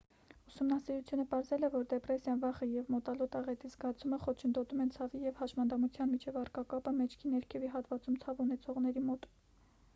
ուսումնասիրությունը պարզել է որ դեպրեսիան վախը և մոտալուտ աղետի զգացումը խոչընդոտում են ցավի և հաշմանդամության միջև առկա կապը մեջքի ներքևի հատվածում ցավ ունեցողների մոտ